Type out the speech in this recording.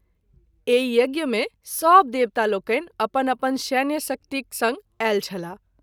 एहि यज्ञ मे सभ देवतालोकनि अपन अपन सैन्यशक्तिक संग आयल छलाह।